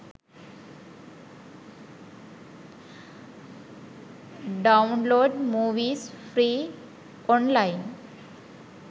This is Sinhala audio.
download movies free online